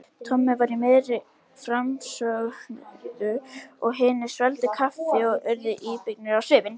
Tommi var í miðri framsöguræðu og hinir svelgdu kaffi og urðu íbyggnir á svipinn.